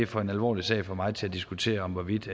for alvorlig sag for mig til at diskutere hvorvidt